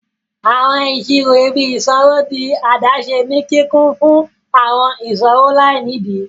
Awọn iṣiro ìbí isanwo dì adaṣe ní kíkún fún awọn iṣowo lainidi.